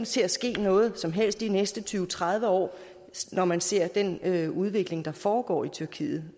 til at ske noget som helst de næste tyve til tredive år når man ser den udvikling der foregår i tyrkiet